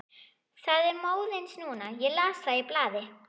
Það er móðins núna, ég las það í blaði.